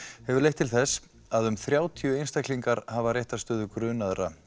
hefur leitt til þess að um þrjátíu einstaklingar hafa réttarstöðu grunaðra